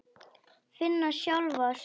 Finna sjálfa sig.